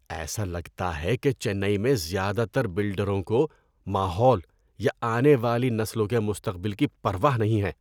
ایسا لگتا ہے کہ چنئی میں زیادہ تر بلڈروں کو ماحول یا آنے والی نسلوں کے مستقبل کی پرواہ نہیں ہے۔